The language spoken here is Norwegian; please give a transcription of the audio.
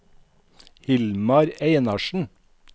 Hilmar Einarsen